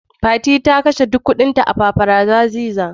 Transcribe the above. Fati ta kashe duk kuɗinta a "paparazzi bar "